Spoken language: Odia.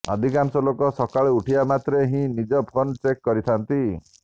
ଅଧିକାଂଶ ଲୋକ ସକାଳୁ ଉଠିବା ମାତ୍ରେ ହିଁ ନିଜ ଫୋନ ଚେକ କରିଥାନ୍ତି